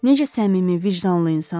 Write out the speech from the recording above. Necə səmimi, vicdanlı insandır.